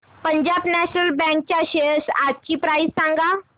Punjab national bank च्या shares आजची price सांगा